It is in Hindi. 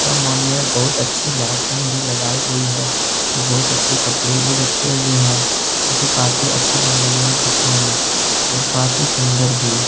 यह मॉल में बहुत अच्छी लाईटिंग भी लगाई गई है और बहुत अच्छे कपड़े भी रखे हुए हैं। जोकि काफी अच्छी लग रही है। दिखने में और काफी सुंदर भी--